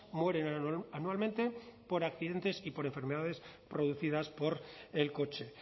mueren anualmente por accidentes y por enfermedades producidas por el coche